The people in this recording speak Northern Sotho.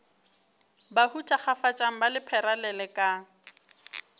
bahu thakgafatšang ba lephera lelekang